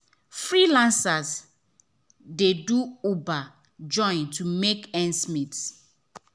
freelancers dey do uber join to make ends meet.